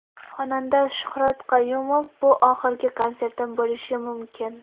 Xonanda Shuhrat Qayumov: Bu oxirgi konsertim bo‘lishi mumkin.